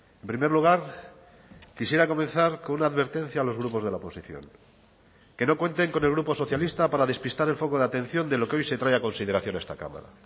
en primer lugar quisiera comenzar con una advertencia a los grupos de la oposición que no cuenten con el grupo socialista para despistar el foco de atención de lo que hoy se trae a consideración a esta cámara